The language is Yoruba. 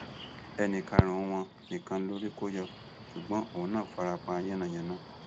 ẹnì karùnún wọn nìkan lórí kò yọ ṣùgbọn òun náà fara pa yánnayànna